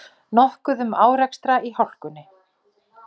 Nokkuð um árekstra í hálkunni